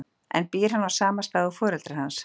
En býr hann á sama stað og foreldrar hans?